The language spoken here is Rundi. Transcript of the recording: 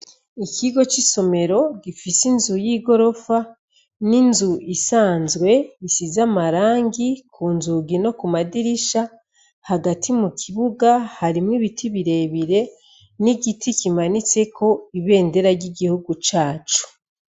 Ikigo cisomero gifise inzu yigorofa ninzu isanzwe bisize amarangi kunzugi no kumadirisha hagati mukibuga harimwo ibiti birebire n'igiti kimanitse ko ibermndera ry'igihugu cacu.